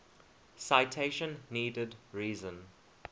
citation needed reason